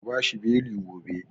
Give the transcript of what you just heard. Ku bashi beli gobe!